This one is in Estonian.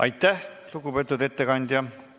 Aitäh, lugupeetud ettekandja!